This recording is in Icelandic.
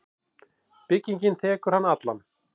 Byggingin þekur hann allan.